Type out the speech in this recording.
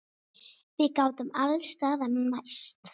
Við gátum alls staðar mæst.